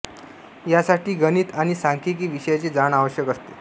या साठी गणित आणि सांख्यिकी विषयांची जाण आवश्यक असते